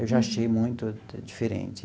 Eu já achei muito diferente.